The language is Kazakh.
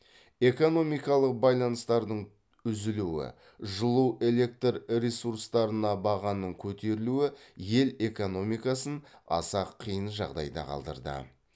экономикалық байланыстардың үзілуі жылу электр ресурстарына бағаның көтерілуі ел экономикасын аса қиын жағдайда қалдырды